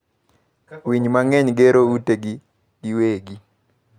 Winy mang'eny gero utegi giwegi.